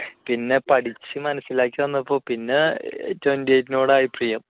പിന്നെ പഠിച്ച് മനസ്സിലാക്കി വന്നപ്പോൾ പിന്നെ twenty eight നോട് ആയി പ്രിയം